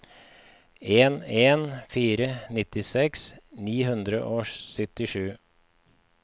en en en fire nittiseks ni hundre og syttisju